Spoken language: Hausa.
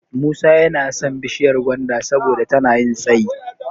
Musa yana son bishiyar gwanda saboda tana yin tsayi.